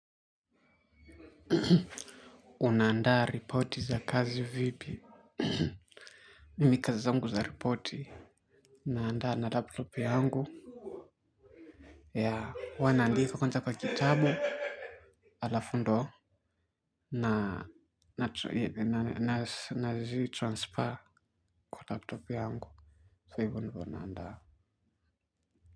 Unandaa ripoti za kazi vipi. Mimi kazi zangu za ripoti naandaa na laptop yangu. Ya huwa naandika kwanza kwa kitabu alafu ndo na nazitransfer kwa laptop yangu So hivo ndivo naandaa.